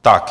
Tak.